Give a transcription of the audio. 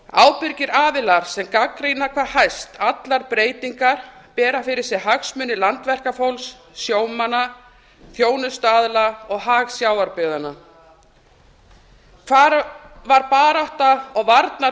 ábyrgir aðilar sem gagnrýna hvað hæst allar breytingar bera fyrir sig hagsmuni landverkafólks sjómanna þjónustuaðila og hag sjávarbyggðanna hvar var barátta og